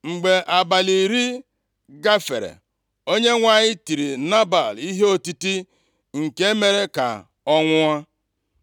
Mgbe abalị iri gafere, Onyenwe anyị tiri Nebal ihe otiti, nke mere ka ọ nwụọ.